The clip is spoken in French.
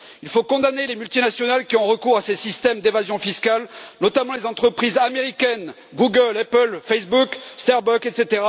Il faut condamner les multinationales qui ont recours à ces systèmes d'évasion fiscale, notamment les entreprises américaines Google, Apple, Facebook, Starbucks, etc.,